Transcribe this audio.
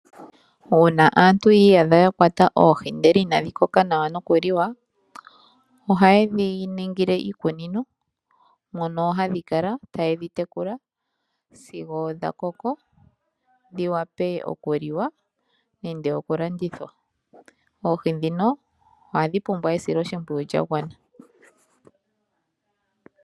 Uuna aantu yi iyidha yakwata oohi ndele ina dhi koka nawa no kuli wa , ohaye dhiningile iikunino mono hadhi kala taye dhi tekula sigo dha koko dhi wape oku liwa nande okulandithwa. Oohi dhino hadhi pumbwa esiloshipwiyu lya gwana.